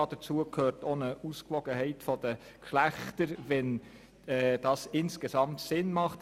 Dazu gehört auch eine Ausgewogenheit der Geschlechter, wenn es insgesamt Sinn macht.